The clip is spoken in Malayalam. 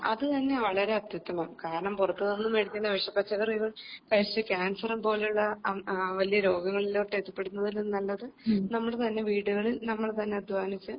അത് തന്നെ വളരെ അത്യുത്തമം കാരണം പുറത്തുനിന്നും വേടിക്കുന്ന വിഷ പച്ചക്കറികൾ കഴിച്ച് ക്യാൻസർ പോലെയുള്ള വലിയ രോഗങ്ങളിലോട്ട് എത്തിപ്പെടുന്നതിലും നല്ലത് നമ്മുടെ തന്നെ വീടുകളിൽ നമ്മൾ തന്നെ അധ്വാനിച്ച്